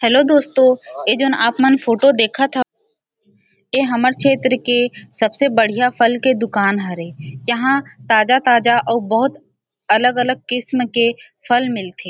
Hello दोस्तों ऐ जो आपमन फोटो देखत हव ऐ हमर क्षेत्र के सबसे बढ़िया फल के दुकान हरे यहाँ ताज़ा-ताज़ा ओ बहुत अलग-अलग किस्म के फल मिल्थे ।